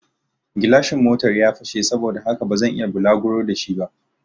Gilashin Motan ya fashe saboda haka bazan iya bulaguro da shi ba